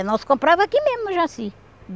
Nós comprava aqui mesmo, em Jaci.